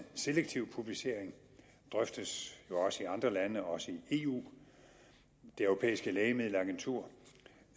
selektiv publicering drøftes jo også i andre lande også i eu det europæiske lægemiddelagentur